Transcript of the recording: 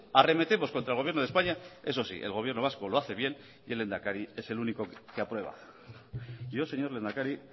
arremetemos contra el gobierno de españa eso sí el gobierno vasco lo hace bien y el lehendakari es el único que aprueba yo señor lehendakari